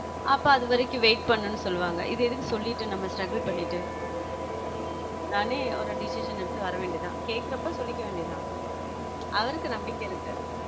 அப்ப அது வரைக்கும் wait பண்ணணும்னு சொல்லுவாங்க இது எதுக்கு சொல்லிட்டு நம்ம struggle பண்ணிட்டு நானே ஒரு decision எடுத்து வரவேண்டியதுதான் கேட்கிறப்போ சொல்லிக்க வேண்டியதுதான் அவருக்கு நம்பிக்கை இருக்கு